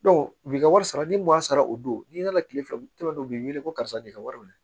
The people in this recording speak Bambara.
u bi ka wari sara ni m'a sara o don n'i nana kile fila u tɛmɛtɔ u bɛ wele ko karisa de ka wari minɛ